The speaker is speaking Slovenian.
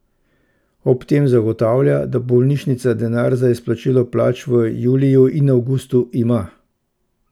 Ob tem zagotavlja, da bolnišnica denar za izplačilo plač v juliju in avgustu ima.